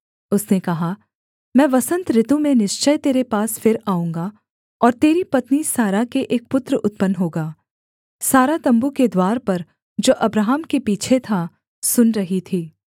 उसने कहा मैं वसन्त ऋतु में निश्चय तेरे पास फिर आऊँगा और तेरी पत्नी सारा के एक पुत्र उत्पन्न होगा सारा तम्बू के द्वार पर जो अब्राहम के पीछे था सुन रही थी